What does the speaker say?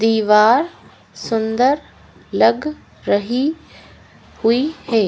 दीवार सुंदर लग रही हुई है।